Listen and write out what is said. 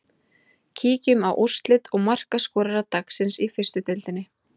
Kíkjum á úrslit og markaskorara dagsins í fyrstu deildinni.